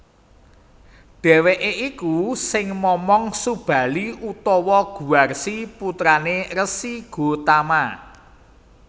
Dheweke iku sing momong Subali utawa Guwarsi putrané Resi Gotama